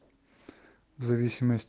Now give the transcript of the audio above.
зависимость